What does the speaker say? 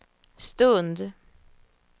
stund